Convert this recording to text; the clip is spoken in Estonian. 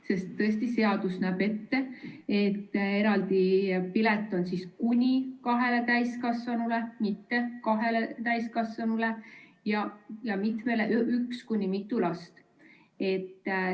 Sest tõesti seadus näeb ette, et eraldi pilet on kuni kahele täiskasvanule, mitte kahele täiskasvanule, ja ühele kuni mitmele lapsele.